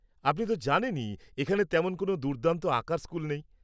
-আপনি তো জানেনই এখানে তেমন কোন দুর্দান্ত আঁকার স্কুল নেই।